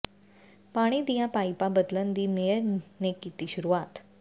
ਪਾਣੀ ਦੀਆਂ ਪਾਈਪਾਂ ਬਦਲਣ ਦੀ ਮੇਅਰ ਨੇ ਕੀਤੀ ਸ਼ੁਰੂਆਤ